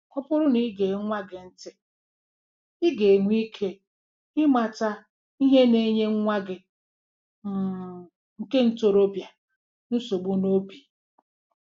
Ọ bụrụ na i gee nwa gị ntị, ị ga-enwe ike ịmata ihe na-enye nwa gị um nke ntorobịa nsogbu n'obi.